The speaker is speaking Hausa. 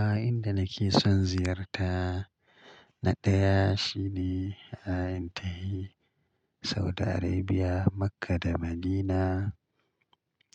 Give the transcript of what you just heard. A inda nake son ziyarta na ɗaya shine a intahi Saudi Arabia, Makkah da Madinah.